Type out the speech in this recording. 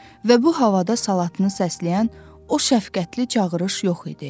Və bu havada salatını səsləyən o şəfqətli çağırış yox idi.